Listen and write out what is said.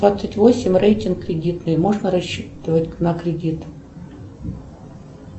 двадцать восемь рейтинг кредитный можно рассчитывать на кредит